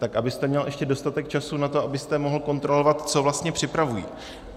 Tak abyste měl ještě dostatek času na to, abyste mohl kontrolovat, co vlastně připravují.